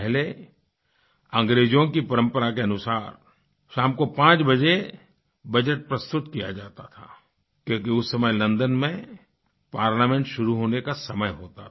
पहले अंग्रेजों की परम्परा के अनुसार शाम को 5 बजे बजट प्रस्तुत किया जाता था क्योंकि उस समय लन्दन में पार्लियामेंट शुरू होने का समय होता था